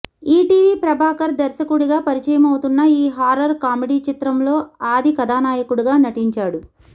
ETV Prabhakar దర్శకుడిగా పరిచయమవుతున్న ఈ హార్రర్ కామెడీ చిత్రంలో ఆది కథానాయకుడిగా నటించాడు